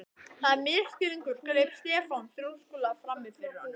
Það er misskilningur greip Stefán þrjóskulega frammi fyrir honum.